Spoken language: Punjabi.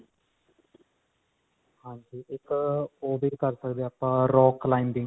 ਹਾਂਜੀ. ਇੱਕ ਉਹ ਵੀ ਕਰ ਸਕਦੇ ਆਪਾਂ rock climbing.